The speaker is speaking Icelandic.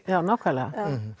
já nákvæmlega